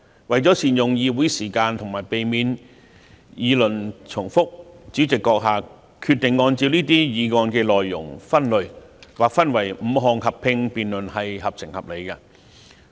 為了善用議會時間及避免議論重複，主席閣下決定按照這些議案的內容分類，劃分為5項合併辯論，做法合情合理。